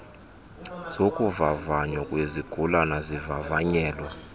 zokuvavanywa kwezigulane zivavanyelwa